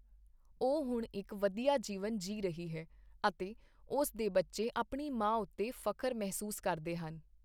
ਉਹ ਹੁਣ ਇਕ ਵਧੀਆ ਜੀਵਨ ਜੀਅ ਰਹੀ ਹੈ ਅਤੇ ਉਸ ਦੇ ਬੱਚੇ ਆਪਣੀ ਮਾਂ ਉੱਤੇ ਫਖਰ ਮਹਿਸੂਸ ਕਰਦੇ ਹਨ।